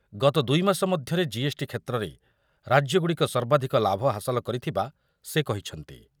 ଗତ ଦୁଇମାସ ମଧ୍ୟରେ ଜିଏସ୍‌ଟି କ୍ଷେତ୍ରରେ ରାଜ୍ୟଗୁଡ଼ିକ ସର୍ବାଧିକ ଲାଭ ହାସଲ କରିଥିବା ସେ କହିଛନ୍ତି।